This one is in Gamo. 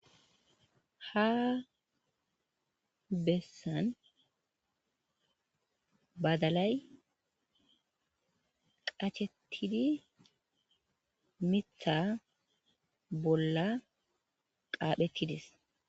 ha bessan badalay qachettidi mitha bolla qaaphettides